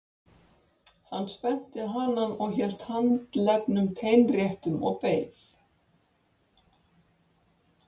Hann spennti hanann og hélt handleggnum teinréttum og beið.